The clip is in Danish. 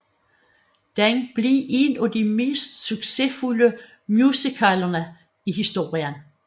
Den blev en af de mest succesfulde musicaler i historien